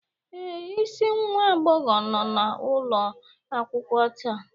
Ee, isi nwa agbọghọ nọ n'ụlọ akwụkwọ taa